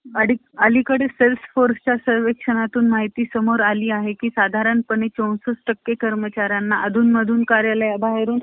बराणनगर इथं शशिपाद शशीपाद बॅनर्जी यांनी विधवाश्रम सुरु केले~ सुरु केला होता.